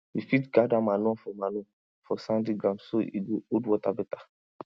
you fit gather manure for manure for sandy ground so e go hold water better